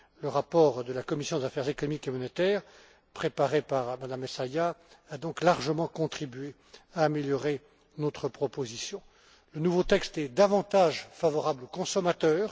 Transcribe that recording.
Le rapport de la commission des affaires économiques et monétaires, préparé par Mme Essayah, a donc largement contribué à améliorer notre proposition. Le nouveau texte est davantage favorable aux consommateurs.